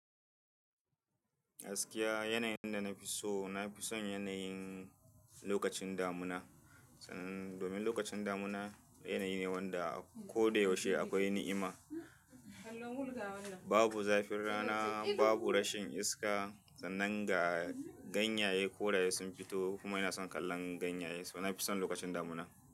Gaskiya yanayin da nafi so nafi son yanayin lokacin damuna. Domin lokacin damuna yanayi ne wanda koda yaushe akwai ni'ima. Babu zafin rana, babu rashin iska sannan ga ganyaye ko da ya sun fito kuma ina son kallon ganyaye, so na fi son lokacin damuna.